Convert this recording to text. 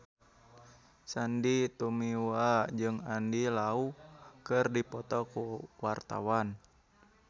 Sandy Tumiwa jeung Andy Lau keur dipoto ku wartawan